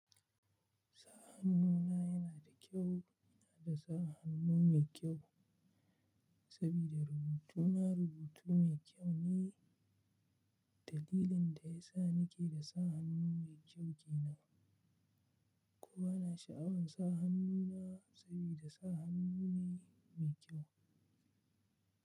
Sa hannu na yana da kyau, yana da sa hannu mai kyau sabida rubutu na rubutu mai kyau ne. Dalilin da ya sa ni ke da sa hannu mai kyau ke nan. Kuma na sha'awar sa hannu na sabida sa hannu ne mai kyau.